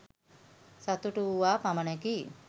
සතුටු වුවා පමණකි.